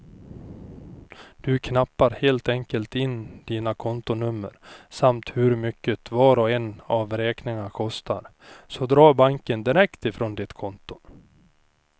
Du knappar helt enkelt in dina kontonummer samt hur mycket var och en av räkningarna kostar, så drar banken direkt från ditt konto.